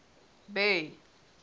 bay